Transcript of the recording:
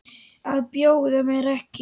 Að bjóða mér ekki.